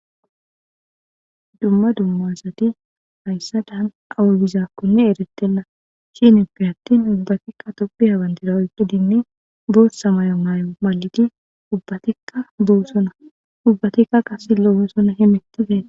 Dumma dumma assati hassadan awa bizzakone erretena shinn attin ubbatika tophiya bandira oyqqidi boththa boththa mayo mayida ubbatika desona ubatika qasse loo'ssona hemettuzaysa